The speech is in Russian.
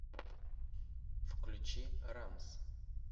включи рамс